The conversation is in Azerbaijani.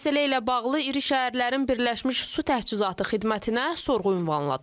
Məsələ ilə bağlı iri şəhərlərin birləşmiş su təchizatı xidmətinə sorğu ünvanladıq.